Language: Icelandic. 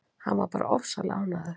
Hann var bara ofsalega ánægður.